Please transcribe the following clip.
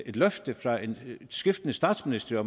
et løfte fra skiftende statsministre